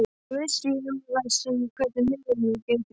Hvað vissi ég um það hvernig minnið gæti brugðist?